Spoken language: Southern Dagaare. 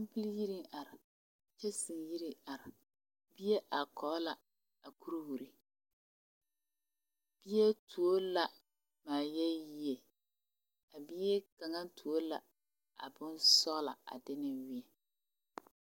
Kampili yiriŋ are kyanse yiri are bie bie are Kog la a kuriwiri bie tuo la maayeeyee a bie kaŋ tuo la a bonsɔgelɔ a de ne meɛ